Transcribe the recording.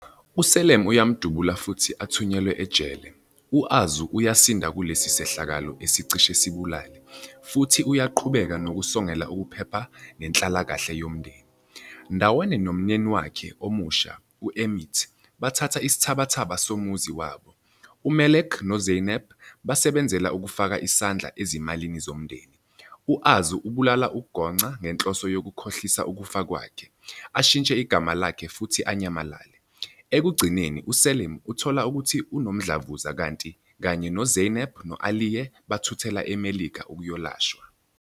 USelim uyamdubula futhi athunyelwe ejele. U-Arzu uyasinda kulesi sehlakalo esicishe sibulale, futhi uyaqhubeka nokusongela ukuphepha nenhlalakahle yomndeni. Ndawonye nomyeni wakhe omusha, e-Umit bathatha isithabathaba somuzi wabo. UMelek noZeynep basebenzela ukufaka isandla ezimalini zomndeni. U-Arzu ubulala uGonca ngenhloso yokukhohlisa ukufa kwakhe, ashintshe igama lakhe futhi anyamalale. Ekugcineni uSelim uthola ukuthi unomdlavuza kanti kanye noZeynep no-Aliye bathuthela eMelika ukuyolashwa.